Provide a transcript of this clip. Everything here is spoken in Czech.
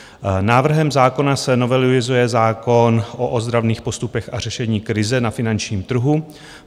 Návrhem zákona se novelizuje zákon o ozdravných postupech a řešení krize na finančním trhu.